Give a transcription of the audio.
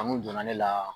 Kanu donna ne la